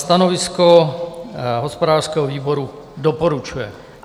Stanovisko hospodářského výboru: Doporučuje.